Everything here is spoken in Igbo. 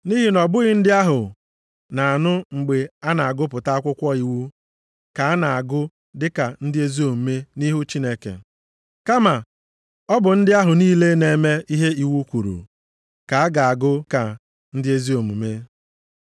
Nʼihi na ọ bụghị ndị ahụ na-anụ mgbe a na-agụpụta akwụkwọ iwu ka a na-agụ dịka ndị ezi omume nʼihu Chineke, kama ọ bụ ndị ahụ niile na-eme ihe iwu kwuru ka a ga-agụ ka ndị ezi omume.